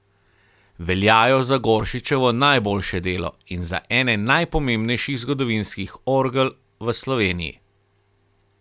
Veljajo za Goršičevo najboljše delo in za ene najpomembnejših zgodovinskih orgel v Sloveniji.